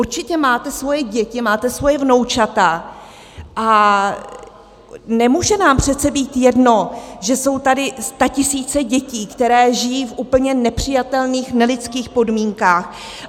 Určitě máte svoje děti, máte svoje vnoučata, a nemůže nám přece být jedno, že jsou tady statisíce dětí, které žijí v úplně nepřijatelných, nelidských podmínkách.